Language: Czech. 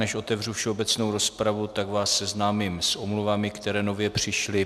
Než otevřu všeobecnou rozpravu, tak vás seznámím s omluvami, které nově přišly.